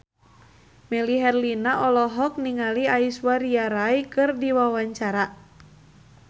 Melly Herlina olohok ningali Aishwarya Rai keur diwawancara